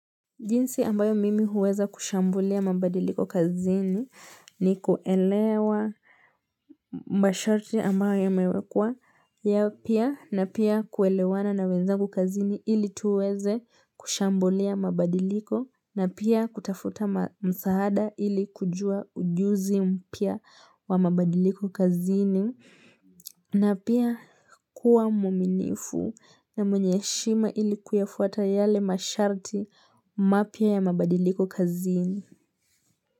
Jinsi ambayo mimi huweza kushambulia mabadiliko kazini ni kuelewa masharti ambayo yamewekwa yapya na pia kuelewana na wenzangu kazini ili tuweze kushambulia mabadiliko na pia kutafuta msahada ili kujua ujuzi mpya wa mabadiliko kazini. Na pia kuwa mwaminifu na mwenye heshima ili kuyafuata yale masharti mapya ya mabadiliko kazini.